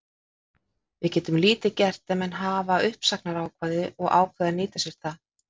Við getum lítið gert ef menn hafa uppsagnarákvæði og ákveða að nýta sér það.